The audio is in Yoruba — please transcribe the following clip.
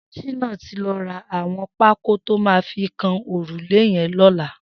Shina ti lọ rà awọn pákó tó mà fi kán órúlé yèn lọlá